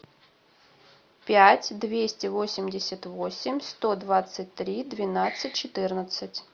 пять двести восемьдесят восемь сто двадцать три двенадцать четырнадцать